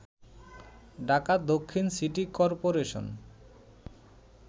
ঢাকা দক্ষিণ city corporation